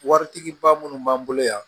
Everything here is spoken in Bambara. Waritigi ba minnu b'an bolo yan